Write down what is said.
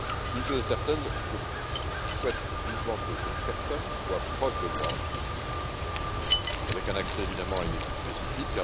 Une chose est certaine je souhaite vivement que cette personne soit proche de moi, avec un accès, évidemment, à une équipe spécifique.